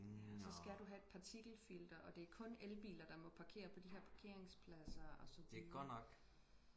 ja så skal du have et partikelfilter og det er kun elbiler der må parkere på de her parkeringspladser og så videre